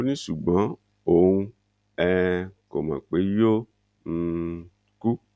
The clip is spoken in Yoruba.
ó ní ṣùgbọ́n òun um kò mọ̀ pé yóò um kú